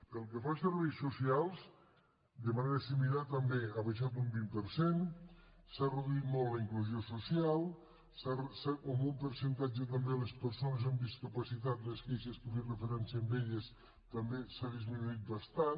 pel que fa a serveis socials de manera similar també ha baixat un vint per cent s’han reduït molt a la inclusió social en percentatge també a les persones amb discapacitat les queixes que feien referència a elles també s’ha disminuït bastant